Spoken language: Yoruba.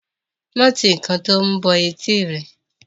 má ti ǹkan to mú bọ etí rẹ.